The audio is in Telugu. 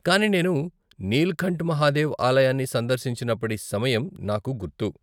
కానీ నేను నీల్కంఠ్ మహాదేవ్ ఆలయాన్ని సందర్శించినప్పటి సమయం నాకు గుర్తు.